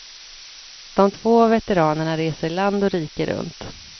De två veteranerna reser land och rike runt.